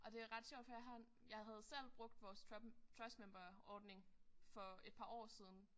Og det er ret sjovt for jeg har en jeg havde selv brugt vores trust member ordning for et par år siden